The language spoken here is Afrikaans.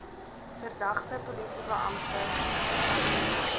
verdagte polisiebeampte gestasioneer